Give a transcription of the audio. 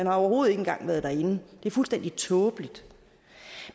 har overhovedet ikke engang været derinde det er fuldstændig tåbeligt